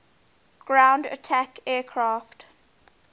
ground attack aircraft